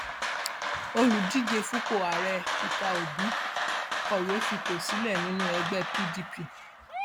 olùdíje fúnpọ ààrẹ peter obi kọwé fipò sílẹ nínú ẹgbẹ pdp